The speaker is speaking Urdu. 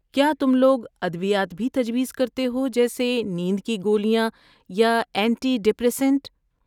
کیا تم لوگ ادویات بھی تجویز کرتے ہو، جیسے نیند کی گولیاں یا اینٹی ڈپریسنٹ؟